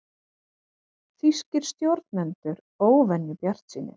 Þýskir stjórnendur óvenju bjartsýnir